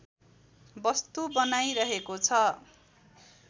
वस्तु बनाइरहेको छ